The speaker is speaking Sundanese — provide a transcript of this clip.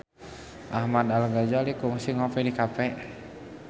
Ahmad Al-Ghazali kungsi ngopi di cafe